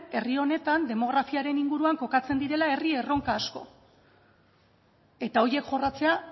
herri honetan demografiaren inguruan kokatzen direla herri erronka asko eta horiek jorratzea